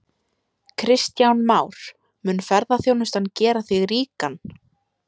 Kristján Már: Mun ferðaþjónustan gera þig ríkan?